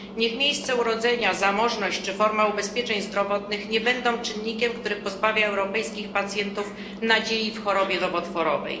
Niech miejsce urodzenia, zamożność czy reforma ubezpieczeń zdrowotnych nie będą czynnikiem, który pozbawia europejskich pacjentów nadziei w chorobie nowotworowej.